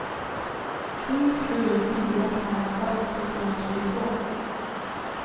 sju sju fyra fem fyrtio trehundratjugotvå